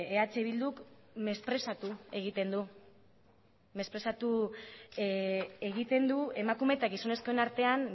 eh bilduk mesprezatu egiten du mesprezatu egiten du emakume eta gizonezkoen artean